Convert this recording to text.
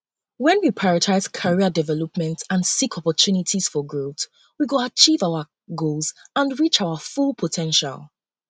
when we prioritize career development and seek opportunities for growth we go achieve our goals and reach our full po ten tial